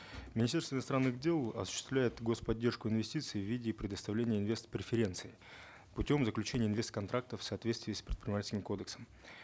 министерство иностранных дел осуществляет гос поддержку инвестиций в виде предоставления инвест преференций путем заключения инвест контрактов в соответствии с предпринимательским кодексом